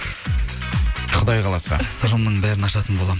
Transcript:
құдай қаласа сырымның бәрін ашатын боламын